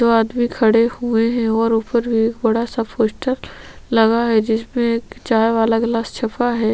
दो आदमी खड़े हुए है ओर ऊपर बड़ा पोस्टर लगा जिसमे एक चाय वाला ग्लास छाप है।